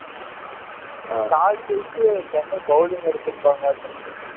toss ஜெயிச்சு Chennai bowling எடுத்திருப்பாங்கலாட்ட இருக்குது